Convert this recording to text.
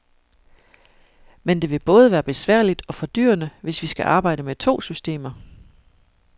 Men det vil både være besværligt og fordyrende, hvis vi skal arbejde med to systemer.